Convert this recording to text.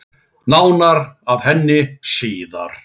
Nánar að henni síðar.